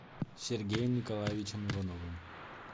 сергеем николаевичем ивановым